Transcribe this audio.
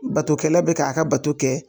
Batokɛla bɛ k'a ka bato kɛ.